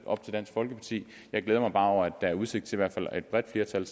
op til dansk folkeparti jeg glæder mig bare over at der er udsigt til at et bredt flertal